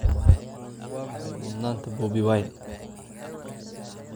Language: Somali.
Waa maxay mudnaanta Bobi Wine?